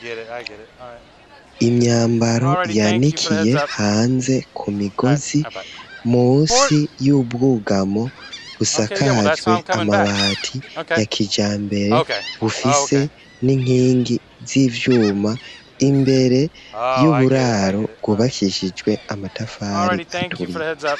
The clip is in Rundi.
Imyambaro yandikiye hanze ku migozi musi y'ubwugamo busakajwe amabati ya kija mbere bufise n'inkingi z'ivyuma imbere y'uburaro bwubakishijwe amatafari aturiye.